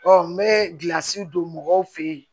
n bɛ gilasi don mɔgɔw fɛ yen